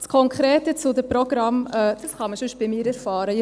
Das Konkrete zu den Programmen kann man sonst bei mir erfahren;